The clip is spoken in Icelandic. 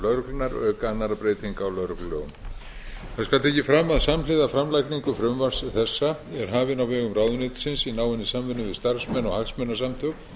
lögreglunnar auk annarra breytinga á lögreglulögum það skal tekið fram að samhliða framlagningu frumvarps þessa er hafin á vegum ráðuneytisins í náinni samvinnu við starfsmenn og hagsmunasamtök